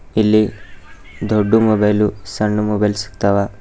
ಇಲ್ಲಿ ದೊಡ್ದು ಮೊಬೈಲು ಸಣ್ ಮೊಬೈಲ್ ಸಿಗ್ತಾವ.